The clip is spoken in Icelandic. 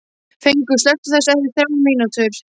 Fengur, slökktu á þessu eftir þrjár mínútur.